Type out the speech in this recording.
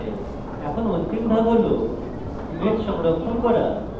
এখন অন্তিম ধাপ হল image সংরক্ষণ করা